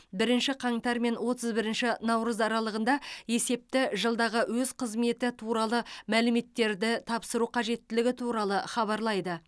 бірінші қаңтар мен отыз бірінші наурыз аралығында есепті жылдағы өз қызметі туралы мәліметтерді тапсыру қажеттілігі туралы хабарлайды